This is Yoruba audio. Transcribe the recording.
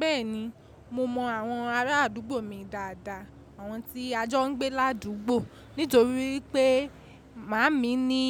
Bẹ́ẹ̀ni, mo mọ àwọn ará àdúgbò mi dáadáa, àwọn tí a jọ ń gbé ládùúgbò. Nítorí pé màámi ní